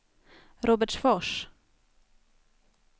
Robertsfors